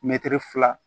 Mɛtiri fila